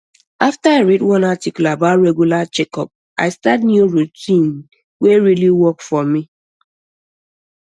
after i read one article about regular checkup i start new routine wey really work for me